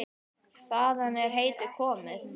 Þaðan er heitið komið.